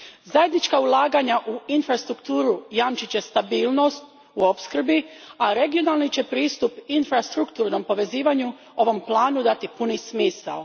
Zajednička ulaganja u infrastrukturu jamčit će stabilnost u opskrbi, a regionalni će pristup infrastrukturnom povezivanju ovom planu dati puni smisao.